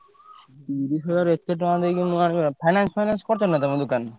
ତିରିଶି ହଜାର ଏତେ ଟଙ୍କା ଦେଇକି ମୁଁ ଆଣିପାରିବି ନା finance finance କରିଛ ନା ତମ ଦୋକାନରେ?